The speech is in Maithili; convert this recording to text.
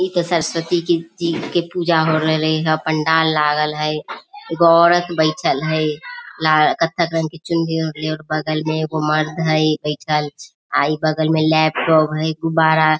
इ त सरस्वती की जी की पूजा हो रहले ह पंडाल लागल हई एगो औरत बइठल हई लाल कत्थक रंग के चुनरी ओढ़ले बगल में एगो मर्द हई बइठल बगल में लैपटॉप हई गुब्बारा हई।